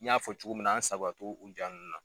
N y'a fɔ cogo min na an sagoya tɛ o jaa ninnu na.